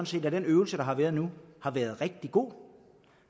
set at den øvelse der har været nu har været rigtig god